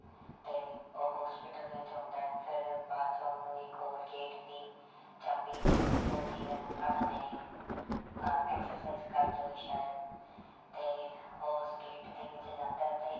ਤੇ ਉਹ hospital ਦੇ ਵਿੱਚ ਹੁੰਦਾ ਹੈ ਫਿਰ ਬਾਅਦ 'ਚ ਉਹਨੂੰ ਇੱਕ ਹੋਰ gate ਦੀ ਚਾਬੀ ਜਿਹੀ ਮਿਲਦੀ ਹੈ ਆਪਣੇ ਆਹ exercise ਕਰਦੇ ਹੋਏ ਸ਼ਾਇਦ ਤੇ ਉਸ gate ਦੇ ਵਿੱਚ ਜਾਂਦਾ ਹੈ ਤੇ